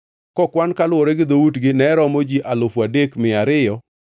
kokwan kaluwore gi dhoutgi ne romo ji alufu adek gi mia ariyo (3,200).